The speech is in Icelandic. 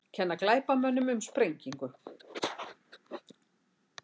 Kenna glæpamönnum um sprengingu